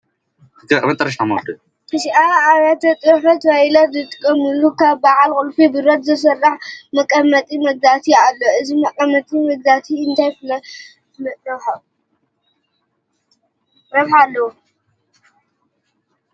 ኣብ ኣብያተ ፅሕፈት ፋይላት ዝቕመጥሉ ካብ በዓል ቁልፊ ብረት ዝስራሕ መቐመጢ መዛግብቲ ኣሎ፡፡ እዚ መቐመጢ መዛግብቲ እንታይ ፍሉይ ረብሓ ኣለዎ?